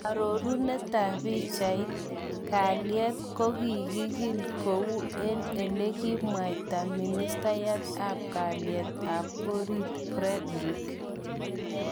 Arorunet tab pichait, kalyet kogokikil kou elekikamwaita Ministayat ab kalyet ab orit Fredrick.